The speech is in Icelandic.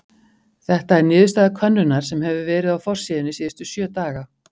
Þetta er niðurstaða könnunar sem hefur verið á forsíðunni síðustu sjö daga.